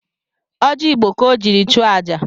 Ọji Igbo ka o jiri chụọ aja